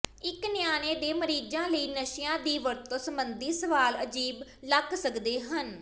ਇੱਕ ਨਿਆਣੇ ਦੇ ਮਰੀਜ਼ਾਂ ਲਈ ਨਸ਼ਿਆਂ ਦੀ ਵਰਤੋਂ ਸੰਬੰਧੀ ਸਵਾਲ ਅਜੀਬ ਲੱਗ ਸਕਦੇ ਹਨ